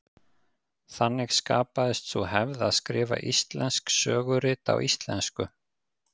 Þannig skapaðist sú hefð að skrifa íslensk sögurit á íslensku.